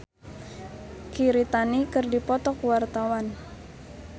Cita Citata jeung Mirei Kiritani keur dipoto ku wartawan